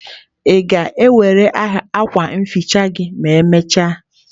Gịnị ma ị ga-ewere akwa nhicha gị ma emechaa?